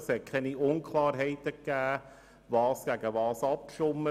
Es gab keine Unklarheiten bezüglich der Gegenüberstellung von Anträgen bei der Abstimmung.